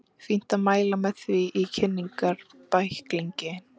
Fínt að mæla með því í kynningarbækling.